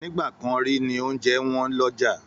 Nígbà kan rí ní oúnjẹ wọ́n lọ́jà